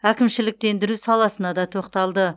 әкімшіліктендіру саласына да тоқталды